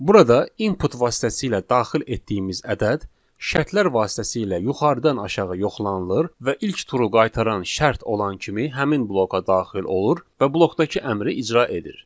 Burada input vasitəsilə daxil etdiyimiz ədəd şərtlər vasitəsilə yuxarıdan aşağı yoxlanılır və ilk true qaytaran şərt olan kimi həmin bloka daxil olur və blokdakı əmri icra edir.